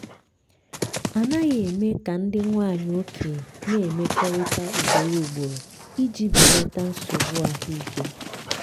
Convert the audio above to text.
a naghị eme ka ndị nwanyị okenye na-emekọrịta ugboro ugboro iji belata nsogbu ahụike.